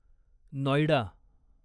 Noida